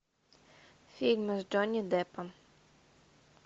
фильмы с джонни деппом